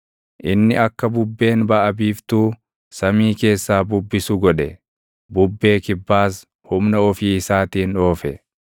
Inni akka bubbeen baʼa biiftuu samii keessaa bubbisu godhe; bubbee kibbaas humna ofii isaatiin oofe.